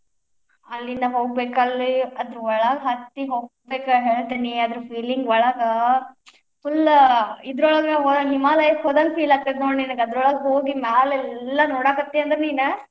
ಅಲ್ಲಿಂದ್ ಹೋಗ್ಬೇಕ್ ಅಲ್ಲೇ ಅಲ್ಲಿ ಒಳಗ್ ಹತ್ತಿ ಹೋಗ್ಬೇಕ್ ಹೇಳ್ತೇನಿ ಅದರ feeling ಒಳಗ್ full ಇದ್ರೊಳಗ ಹಿಮಾಲಯಕ್ಕ್ ಹೋದಂಗ್ feel ಆಕ್ಕೆತಿ ನೋಡ್ ನೀನಗ, ಅದರೋಳಗ್ ಹೋಗಿ ಮ್ಯಾಲೆಲ್ಲಾ ನೋಡಾಕತ್ತಿಯಂದ್ರ್ ನೀನ್.